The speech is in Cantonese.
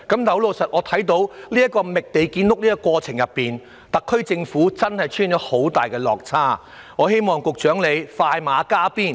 可是，在覓地建屋的過程中，特區政府的工作確實出現很大落差，希望局長能快馬加鞭。